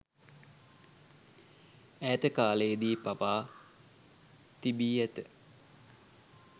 ඈත කාලයේදී පවා තිබී ඇත.